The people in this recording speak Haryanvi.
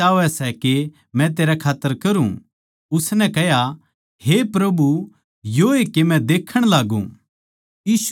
तू के चाहवै सै के मै तेरै खात्तर करूँ उसनै कह्या हे प्रभु योए के मै देक्खण लाग्गू